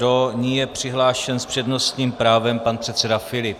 Do ní je přihlášen s přednostním právem pan předseda Filip.